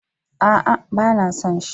A'a, ba na son shi.